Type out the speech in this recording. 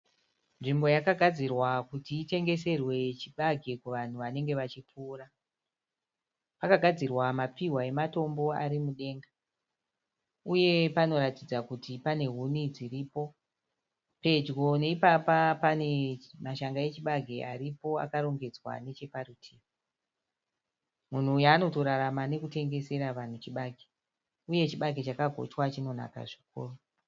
Nzvimbo yakagadzirwa kuti itengeserwe chibage kuvanhu vanenge vachipfuura. Pakagadzirwa mapfihwa ematombo ari mudenga. Uye panoratidza kuti pane huni dziripo. Pedyo neipapa pane mashanga echibage aripo akarongedzwa nechaparutivi. Munhu uyu anotorarama nekutengesera vanhu chibage. Uye chibage chakagochwa chinonaka zvikuru.